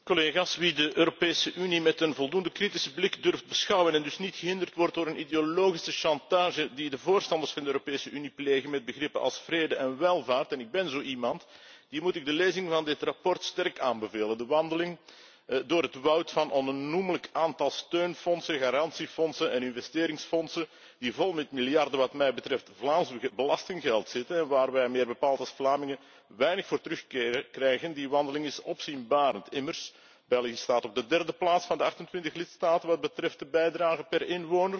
Wie de Europese Unie met een voldoende kritische blik durft te beschouwen en dus niet gehinderd wordt door een ideologische chantage die de voorstanders van de Europese Unie plegen met begrippen als vrede en welvaart en ik ben zo iemand die moet ik de lezing van dit verslag sterk aanbevelen. De wandeling door het woud van een onnoemelijk aantal steunfondsen, garantiefondsen en investeringsfondsen die vol met miljarden wat mij betreft Vlaams belastinggeld zitten en waarvoor wij meer bepaald als Vlamingen weinig terugkrijgen, die wandeling is opzienbarend. Immers, België staat op de derde plaats van de 28 lidstaten wat betreft de bijdrage per inwoner.